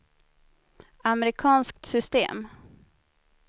amerikanskt system